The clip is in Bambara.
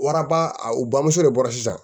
u bamuso de bɔra sisan